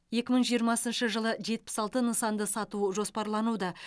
екі мың жиырмасыншы жылы жетпіс алты нысанды сату жоспарлануда